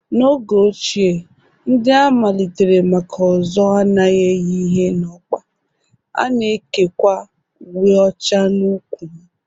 N'oge ochie, ndị a malitere maka Ozo anaghị eyi ihe na okpa, ha na-ekekwa uwe ọcha n'ụkwụ ha